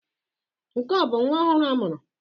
Nke a ọ bụ nwa ọhụrụ a mụrụ?